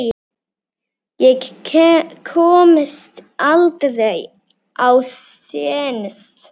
Ég komst aldrei á séns.